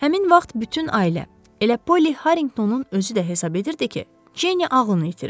Həmin vaxt bütün ailə, elə Polli Harriqtonun özü də hesab edirdi ki, Cenni ağlını itirib.